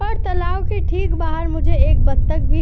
पर तालाब के ठीक बाहर मुझे एक बत्तख भी --